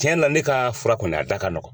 Tiɲɛna ne ka fura kɔni a da ka nɔgɔn.